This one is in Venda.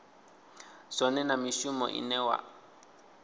zwone na mishumo ine vha